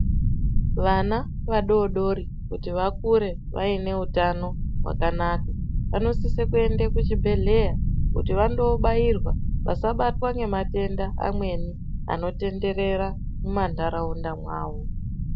Vana vadodori kuti vakure vaine utano hwakanaka vamosise kuende kuchibhedhlera kuti vandobairwa vasabatwa ngematenda mamweni anotenderera mumantaraunda mwavo .